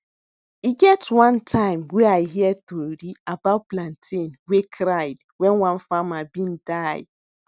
e get one time wey i hear tori about plantain wey cried wen one farmer been die